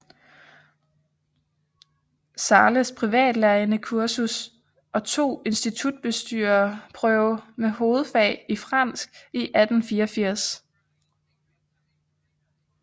Zahles privatlærerindekursus og tog institutbestyrerprøve med hovedfag i fransk i 1884